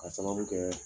Ka sababu kɛ